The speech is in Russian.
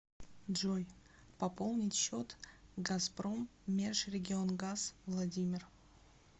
джой пополнить счет газпроммежрегионгаз владимир